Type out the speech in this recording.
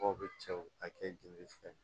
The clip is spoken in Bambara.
Mɔgɔw bɛ cɛw ka kɛ jeli filɛ